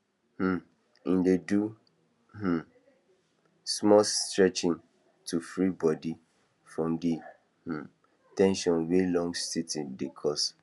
um he dey do um small stretching to free body from the um ten sion wey long sitting dey cause